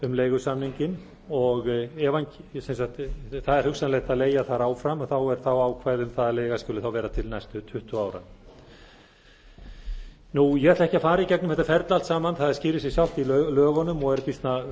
um leigusamninginn það er hugsanlegt að leigja þar áfram og það er þá ákvæði um það að leiga skuli þá vera til næstu tuttugu ára ég ætla ekki að fara í gegnum þetta ferli allt saman það skýrir sig sjálft í lögunum og er býsna